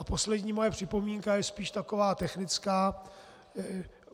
A poslední moje připomínka je spíš taková technická.